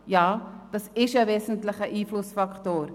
Ja, es ist ein wesentlicher Einflussfaktor.